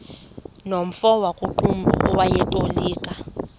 nomfo wakuqumbu owayetolika